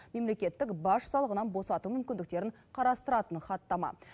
мемлекеттік баж салығынан босату мүмкіндіктерін қарастыратын хаттама